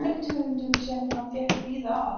bergtegundum, sem hann fékk víða að.